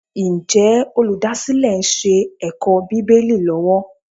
Ǹjẹ́ olùdásílẹ̀ ń ṣe ẹ̀kọ́ Bíbélì lọ́wọ́?